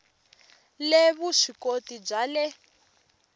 le vusw ikoti bya le